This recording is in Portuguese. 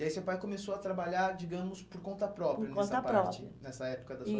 E aí seu pai começou a trabalhar, digamos, por conta própria, por conta própria, nessa parte, nessa época da sua